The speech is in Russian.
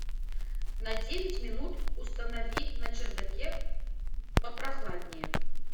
на девять минут установи на чердаке попрохладнее